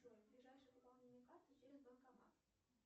джой ближайшее пополнение карты через банкомат